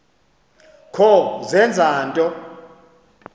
kho zenza nto